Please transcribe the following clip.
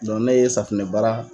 ne ye safunɛbaara